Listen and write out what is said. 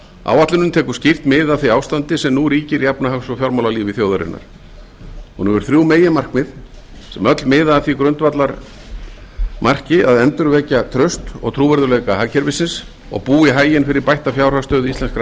áætlunin tekur skýrt mið af því ástandi sem nú ríkir í efnahags og fjármálalífi þjóðarinnar hún hefur þrjú meginmarkmið sem öll miða að því grundvallarmarki að endurvekja traust og trúverðugleika hagkerfisins og búa í haginn fyrir bætta fjárhagsstöðu íslenskra